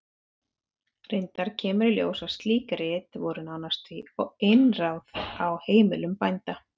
Reyndar kemur í ljós að slík rit voru nálægt því einráð á heimilum bænda.